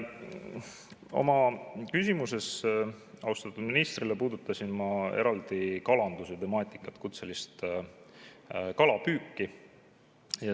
Oma küsimuses austatud ministrile puudutasin ma eraldi kalanduse temaatikat, kutselist kalapüüki.